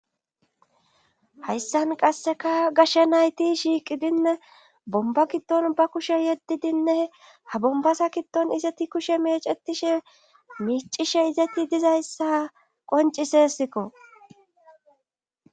Hayssan qasseka gashe nayti shiiqidinne bomba kiddon ba kushe yeddidinne ha bombasa kiddon izeti kushe mecetishe micishe izati dizayssa qoncisesikko.